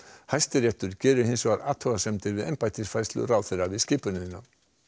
Hæstiréttur gerir hins vegar athugasemdir við embættisfærslu ráðherra við skipunina